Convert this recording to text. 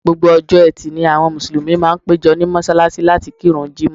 Gbogbo ọjọ́ Ẹtì ni àwọn Mùsùlùmí máa ń péjọ ní mọ́ṣáláṣí láti kírun Jímọ̀h